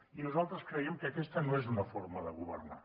i nosaltres creiem que aquesta no és una forma de governar